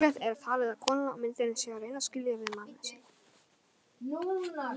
Líklegt er talið að konan á myndinni sé að reyna að skilja við manninn sinn.